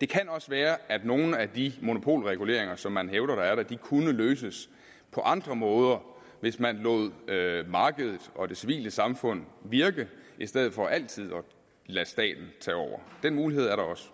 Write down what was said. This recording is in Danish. det kan også godt være at nogle af de monopolreguleringer som man hævder er der kunne løses på andre måder hvis man lod markedet og det civile samfund virke i stedet for altid at lade staten tage over den mulighed er der også